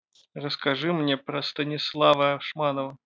расскажи мне про станислава ашманова